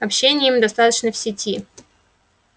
общения им достаточно в сети